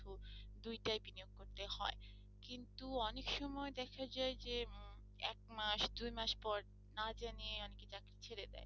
কিন্ত অনেকসময় দেখা যায় যে এক মাস দুই মাস পর না জানিয়ে অনেকে চাকরি ছেড়ে দেয়।